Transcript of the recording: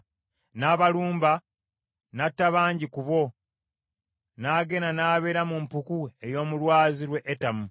N’abalumba n’atta bangi nnyo ku bo, n’agenda n’abeera mu mpuku ey’omu lwazi lw’e Etamu.